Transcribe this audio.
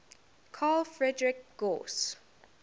carl friedrich gauss